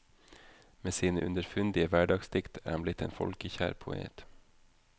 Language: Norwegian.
Med sine underfundige hverdagsdikt er han blitt en folkekjær poet.